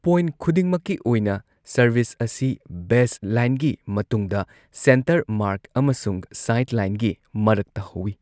Point ꯈꯨꯗꯤꯡꯃꯛꯀꯤ ꯑꯣꯏꯅ, service ꯑꯁꯤ ꯕꯦꯁꯂꯥꯏꯟꯒꯤ ꯃꯇꯨꯡꯗ, ꯁꯦꯟꯇꯔ ꯃꯥꯔꯛ ꯑꯃꯁꯨꯡ ꯁꯥꯏꯗꯂꯥꯏꯟꯒꯤ ꯃꯔꯛꯇ ꯍꯧꯋꯤ꯫